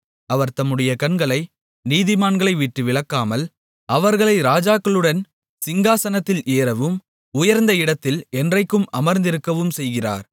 அவர் தம்முடைய கண்களை நீதிமான்களைவிட்டு விலக்காமல் அவர்களை ராஜாக்களுடன் சிங்காசனத்தில் ஏறவும் உயர்ந்த இடத்தில் என்றைக்கும் அமர்ந்திருக்கவும் செய்கிறார்